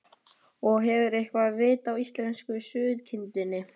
Magnús Hlynur: Og hefurðu eitthvað vit á íslensku sauðkindinni?